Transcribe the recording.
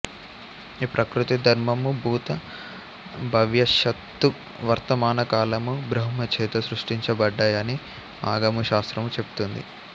ఈ ప్రకృతి ధర్మము భూత భవ్యష్యత్తు వర్తమాన కాలము బ్రహ్మచేత సృష్టించబడ్డాయని ఆగమ శాస్త్రము చెప్తుంది